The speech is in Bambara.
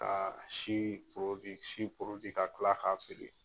Ka si porodi ka si porodi ka kila k'a feere